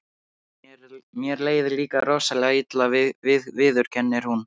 Mér leið líka rosalega illa, viðurkennir hún.